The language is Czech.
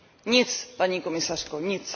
Nic, paní komisařko, nic.